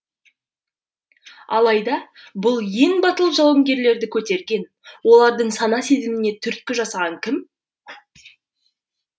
алайда бұл ең батыл жауынгерлерді көтерген олардың сана сезіміне түрткі жасаған кім